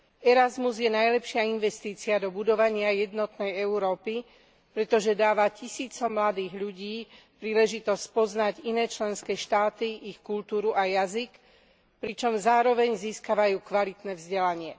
Erasmus je najlepšia investícia do budovania jednotnej Európy, pretože dáva tisícom mladých ľudí príležitosť spoznať iné členské štáty, ich kultúru a jazyk, pričom zároveň získavajú kvalitné vzdelanie.